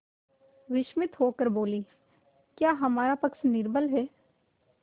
विस्मित होकर बोलीक्या हमारा पक्ष निर्बल है